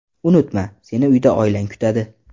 Unutma, seni uyda oilang kutadi!”